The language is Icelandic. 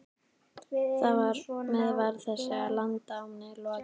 Þar með var þessu landnámi lokið.